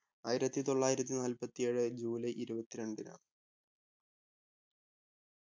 ആയിരത്തി തൊള്ളായിരത്തി നാല്പത്തി ഏഴ് ജൂലൈ ഇരുപത്തി രണ്ടിനാണ്